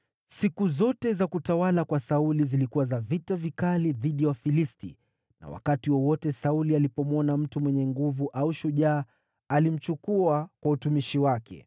Siku zote za utawala wa Sauli zilikuwa za vita vikali dhidi ya Wafilisti, na wakati wowote Sauli alimwona mtu mwenye nguvu au shujaa, alimchukua kwa utumishi wake.